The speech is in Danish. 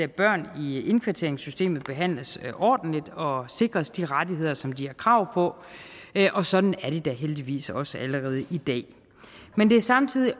børn i indkvarteringssystemet behandles ordentligt og sikres de rettigheder som de har krav på og sådan er det da heldigvis også allerede i dag men det er samtidig